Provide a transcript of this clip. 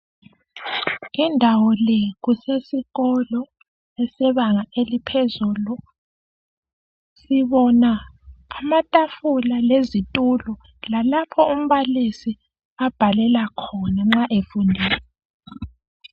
Indawo le kusesikolo esebanga eliphezulu. Sibona amatafula lezitulo lalapho umbalisi abhalela khona nxa efundisa.